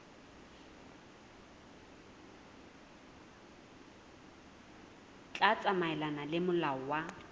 tla tsamaelana le molao wa